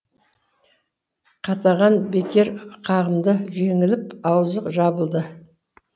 қатаған бекер қағынды жеңіліп аузы жабылды